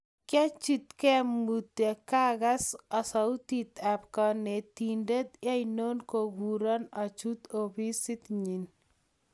Kiachikte mutyo akakas sauti ab kanetindet eno kokuro achut ofisit nyi